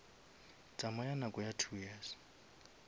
tsamaya nako ya two years